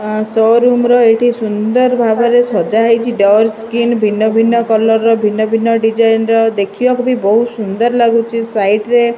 show room ର ଏଠି ସୁନ୍ଦର ଭାବରେ ସଜା ହେଇଛି ଡୋର୍ ସ୍କ୍ରିନ୍ ଭିନ୍ନ ଭିନ୍ନ କଲର୍ ଭିନ୍ନ ଭିନ୍ନ ଡିଜାଇନ୍ ଦେଖିବାକୁ ଭି ବହୁତ୍ ସୁନ୍ଦର ଲାଗୁଛି ସାଇଟ୍ ରେ --